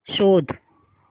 शोध